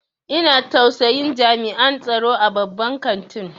Ina tausayin jami'an tsaro a babban kantin.